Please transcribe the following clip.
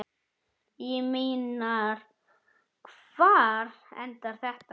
Ég meina, hvar endar þetta?